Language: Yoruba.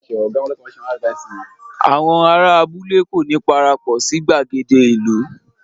Àwọn ará abúlé kò ní parapọ̀ sí gbàgede ìlú